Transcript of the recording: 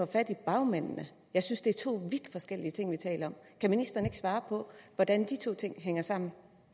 fat i bagmændene jeg synes det er to vidt forskellige ting vi taler om kan ministeren ikke svare på hvordan de to ting hænger sammen